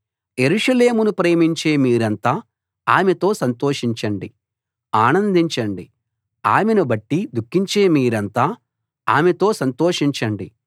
యెరూషలేమును ప్రేమించే మీరంతా ఆమెతో సంతోషించండి ఆనందించండి ఆమెను బట్టి దుఃఖించే మీరంతా ఆమెతో సంతోషించండి